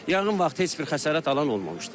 Yanğın vaxtı heç bir xəsarət alan olmamışdır.